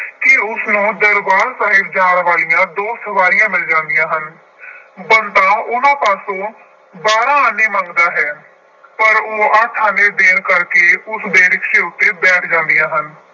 ਕਿ ਉਸਨੂੰ ਦਰਬਾਰ ਸਾਹਿਬ ਜਾਣ ਵਾਲੀਆਂ ਦੋ ਸਵਾਰੀਆਂ ਮਿਲ ਜਾਂਦੀਆਂ ਹਨ। ਬੰਤਾ ਉਹਨਾ ਪਾਸੋਂ ਬਾਰਾਂ ਆਨੇ ਮੰਗਦਾ ਹੈ। ਪਰ ਉਹ ਅੱਠ ਆਨੇ ਦੇਣ ਕਰਕੇ ਉਸਦੇ ਰਿਕਸ਼ੇ ਉੱਤੇ ਬੈਠ ਜਾਂਦੀਆਂ ਹਨ।